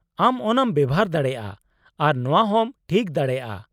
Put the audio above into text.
ᱟᱢ ᱚᱱᱟᱢ ᱵᱮᱣᱦᱟᱨ ᱫᱟᱲᱮᱭᱟᱜᱼᱟ ᱟᱨ ᱱᱚᱶᱟ ᱦᱚᱸᱢ ᱴᱷᱤᱠ ᱫᱟᱲᱮᱭᱟᱜᱼᱟ ᱾